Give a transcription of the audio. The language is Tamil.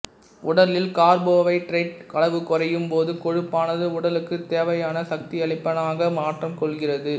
உடலில் கார்போவைதரேட்டின் அளவு குறையும் போது கொழுப்பானது உடலுக்குத் தேவையான சக்தியளிப்பானாக மாற்றம் கொள்கிறது